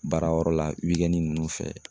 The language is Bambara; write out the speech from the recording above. Baarayɔrɔ la ninnu fɛ